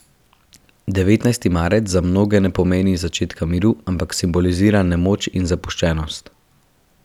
Devetnajsti marec za mnoge ne pomeni začetka miru, ampak simbolizira nemoč in zapuščenost.